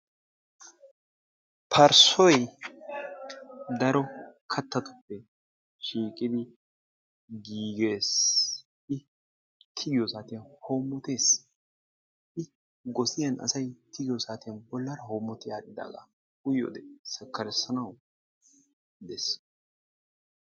Parssoy daro kattatuppe shiiqidi giigees. I tigiyo saatiyan hoommotees. I gosiyani asay tigiyo saatiyan bolla hoommoti aadhdhidaagaa uyiyode sakkarissanawukka danddayees.